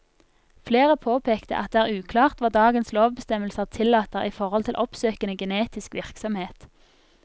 Flere påpekte at det er uklart hva dagens lovbestemmelser tillater i forhold til oppsøkende genetisk virksomhet.